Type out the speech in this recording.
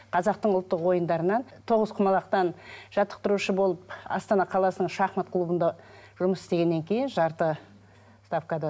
қазақтың ұлттық ойындарынан тоғызқұмалақтан жаттықтырушы болып астана қаласының шахмат клубында жұмыс істегеннен кейін жарты ставкада